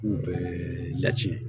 U bɛɛ lacɛn